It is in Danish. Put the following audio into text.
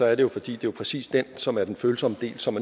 er det fordi det jo præcis er den som er den følsomme del og som